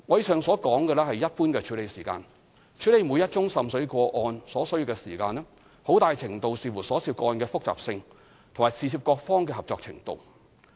上述只是一般處理時間；處理每宗滲水個案所需的時間，很大程度視乎所涉個案的複雜性和事涉各方的合作程度。